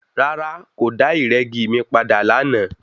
Rárá, kòdà ìrẹ́gi mi padà lánàá.